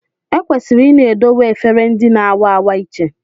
Ekwesịrị ịna edowe efere ndị na-a wa awa iche